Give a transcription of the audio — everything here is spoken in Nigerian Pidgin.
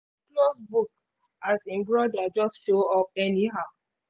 e close book as im broda just show up anyhow